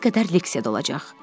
İkiyə qədər leksiyada olacaq.